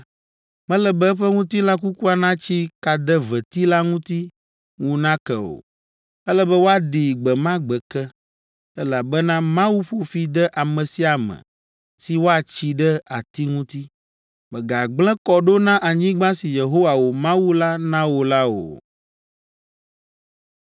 mele be eƒe ŋutilã kukua natsi kadeveti la ŋuti ŋu nake o. Ele be woaɖii gbe ma gbe ke, elabena Mawu ƒo fi de ame sia ame si woatsi ɖe ati ŋuti. Mègagblẽ kɔ ɖo na anyigba si Yehowa, wò Mawu la na wò la o.”